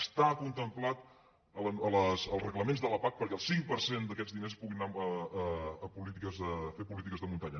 està contemplat als reglaments de la pac perquè el cinc per cent d’aquests diners pugui anar a fer polítiques de muntanya